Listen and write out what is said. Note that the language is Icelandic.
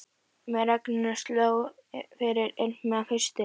Með regninu sló fyrir ilmi af hausti.